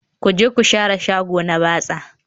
Ku je ku share shagona na batsa